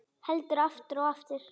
Heldur aftur og aftur.